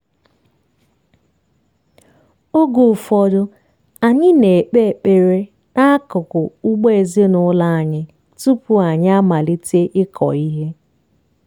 oge ụfọdụ anyị na-ekpe ekpere n'akụkụ ugbo ezinụlọ anyị tupu anyị amalite ịkọ ihe.